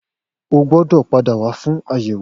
O gbọ́dọ̀ pàdá wà fún àyẹ̀wò